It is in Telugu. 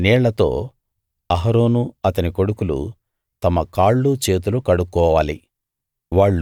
ఆ నీళ్లతో అహరోను అతని కొడుకులు తమ కాళ్ళు చేతులు కడుక్కోవాలి